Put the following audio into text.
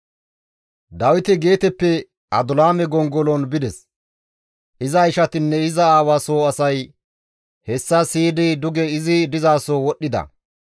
Dawiti Geeteppe Adulaame gongolon bides; iza ishatinne iza aawa soo asay hessa siyidi duge izi dizaso wodhdhida.